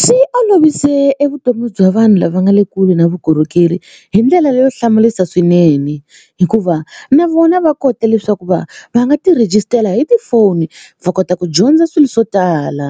Swi olovise e vutomi bya vanhu lava nga le kule na vukorhokeri hi ndlela leyo hlamarisa swinene hikuva na vona va kota leswaku va va nga ti rejistara hi tifoni va kota ku dyondza swilo swo tala